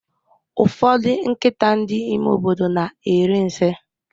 Ụfọdụ nkịta ndị ime obodo na eri nsị